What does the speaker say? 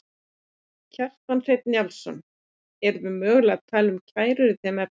Kjartan Hreinn Njálsson: Erum við mögulega að tala um kærur í þeim efnum?